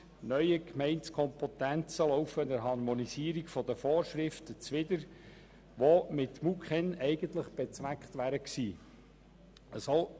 Neue Gemeindekompetenzen laufen der Harmonisierung der Vorschriften zuwider, welche eigentlich mit MuKEn erzielt werden sollen.